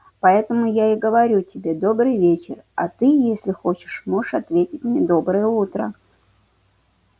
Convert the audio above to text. поэтому я и говорю тебе добрый вечер а ты если хочешь можешь ответить мне доброе утро